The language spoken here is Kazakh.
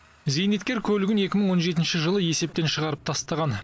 зейнеткер көлігін екі мың он жетінші жылы есептен шығарып тастаған